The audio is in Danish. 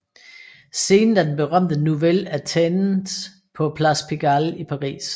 Scenen er den berømte Nouvelle Athènes på Place Pigalle i Paris